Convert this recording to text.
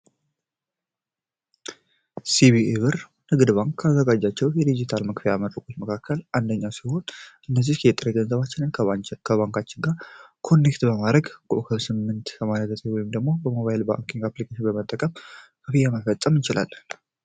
ሲቢኢ ብር ንግድ ባንክ ካዘጋጃቸው የዲጂታል መክፊያ መንገዶች መካከል አንደኛው ሲሆን እነዚህ ከየጠር ገንዘባችንን ከባንካችን ጋር ኮኔክት በማድረግ ኮከብ ስምንት ስምንት ዘጠኝ ወይም ደግሞ በሞባይል ባንኪንግ አፕሊኬሽን በመጠቀም ከፍያ መፈጸም ይችላል።